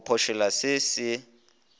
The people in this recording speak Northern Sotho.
go phošolla se se se